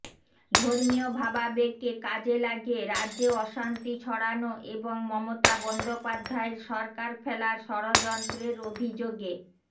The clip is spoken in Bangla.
ধর্মীয় ভাবাবেগকে কাজে লাগিয়ে রাজ্যে অশান্তি ছড়ানো এবং মমতা বন্দ্যোপাধ্যায়ের সরকার ফেলার ষড়যন্ত্রের অভিযোগে